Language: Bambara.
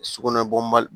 Sugunɛbi mali